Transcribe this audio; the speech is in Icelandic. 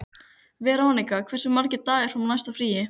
Veronika, hversu margir dagar fram að næsta fríi?